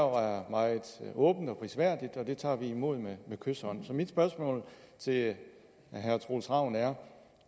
og meget prisværdigt og det tager vi imod med kyshånd så mit spørgsmål til herre troels ravn er